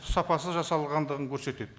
сапасыз жасалғандығын көрсетеді